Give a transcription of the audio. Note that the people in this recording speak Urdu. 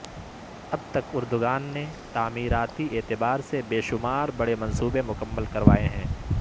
اب تک اردگان نے تعمیراتی اعتبار سے بے شمار بڑے منصوبے مکمل کروائے ہیں